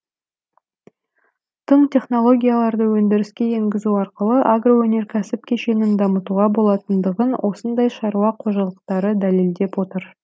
тың технологияларды өндіріске енгізу арқылы агроөнеркәсіп кешенін дамытуға болатындығын осындай шаруа қожалықтары дәлелдеп отыр